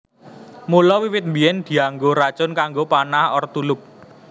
Mula wiwit biyèn dianggo racun kanggo panah/tulup